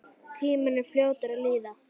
Tíminn er fljótur að líða.